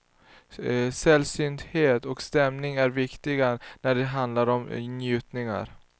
Sällsynthet och stämning är viktigt när det handlar om njutningar.